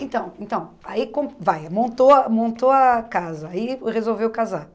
Então então, aí com vai montou a montou a casa aí resolveu casar.